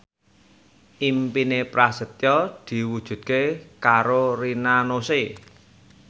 impine Prasetyo diwujudke karo Rina Nose